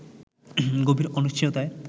গভীর অনিশ্চয়তায়